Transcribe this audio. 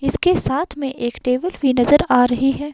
इसके साथ में एक टेबल भी नजर आ रही है।